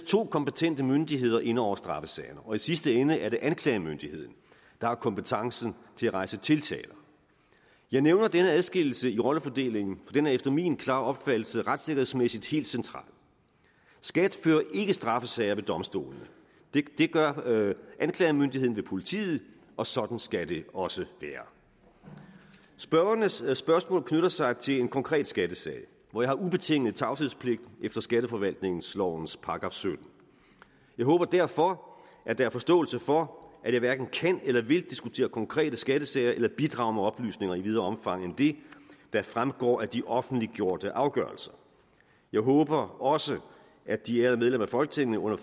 to kompetente myndigheder inde over straffesagerne og i sidste ende er det anklagemyndigheden der har kompetencen til at rejse tiltaler jeg nævner denne adskillelse i rollefordelingen den er efter min klare opfattelse retssikkerhedsmæssigt helt central skat fører ikke straffesager ved domstolene det gør anklagemyndigheden ved politiet og sådan skal det også være spørgernes spørgsmål knytter sig til en konkret skattesag hvor jeg har ubetinget tavshedspligt efter skatteforvaltningslovens § syttende jeg håber derfor at der er forståelse for at jeg hverken kan eller vil diskutere konkrete skattesager eller bidrage med oplysninger i videre omfang end det der fremgår af de offentliggjorte afgørelser jeg håber også at de ærede medlemmer af folketinget under